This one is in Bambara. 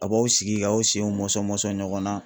A b'aw sigi k'aw senw mɔsɔn mɔsɔn ɲɔgɔn na.